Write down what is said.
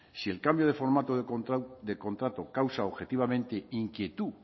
si el cambio de formato de contrato causa objetivamente inquietud